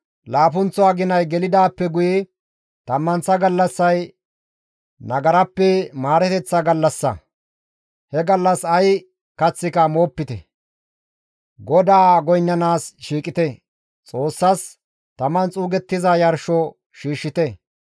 «Laappunththo aginay gelidaappe guye tammanththa gallassay nagarappe maareteththa gallassa; he gallas ay kaththika moopite; GODAA goynnanaas shiiqite; Xoossas taman xuugettiza yarsho shiishshite.